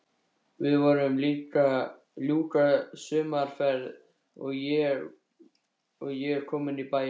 Við vorum að ljúka sumarferð og ég kominn í bæinn.